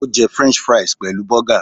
Ó jẹ french fries pẹ̀lú burger